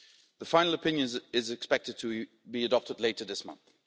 The final opinion is expected to be adopted later this month.